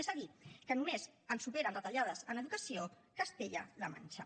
és a dir que només ens supera en retallades en educació castella la manxa